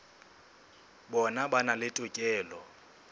bona ba na le tokelo